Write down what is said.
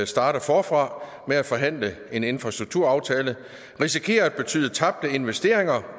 starte forfra med at forhandle en infrastrukturaftale risikerer at betyde tabte investeringer